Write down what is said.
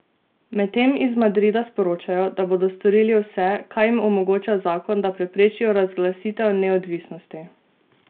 Medtem iz Madrida sporočajo, da bodo storili vse, kar jim omogoča zakon, da preprečijo razglasitev neodvisnosti.